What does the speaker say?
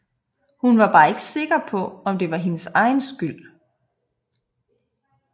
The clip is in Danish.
Hun er bare ikke sikker på om det var hendes egen skyld